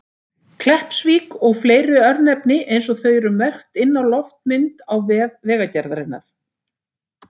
Kleppsvík og fleiri örnefni eins og þau eru merkt inn á loftmynd á vef Vegagerðarinnar.